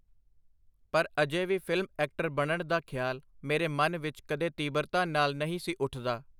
ਪਰ ਅਜੇ ਵੀ ਫਿਲਮ ਐਕਟਰ ਬਣਨ ਦਾ ਖਿਆਲ ਮੇਰੇ ਮਨ ਵਿਚ ਕਦੇ ਤੀਬਰਤਾ ਨਾਲ ਨਹੀਂ ਸੀ ਉਠਦਾ.